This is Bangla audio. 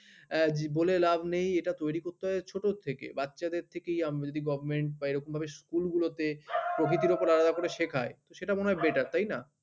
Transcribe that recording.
আহ বলে লাভ নেই এটা তৈরি করতে হয় ছোট থেকে। বাচ্চাদের থেকেই আমরা যদি government বা এরকমভাবে school গুলোতে প্রকৃতির উপর আলাদা করে শেখায় সেটা মনে হয় better তাই না?